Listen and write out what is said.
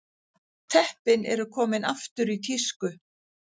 Teppin eru komin aftur í tísku